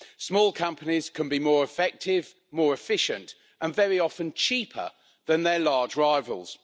Small companies can be more effective, more efficient and very often cheaper than their large rivals.